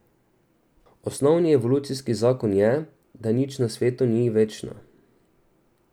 Osnovni evolucijski zakon je, da nič na svetu ni večno.